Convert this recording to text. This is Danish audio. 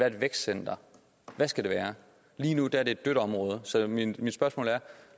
et vækstcenter hvad skal det være lige nu er det et dødt område så mit spørgsmål er